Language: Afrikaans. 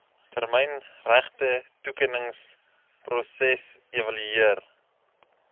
termyn regtetoekenningsproses evalueer